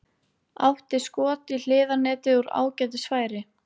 Átti skot í hliðarnetið úr ágætis færi.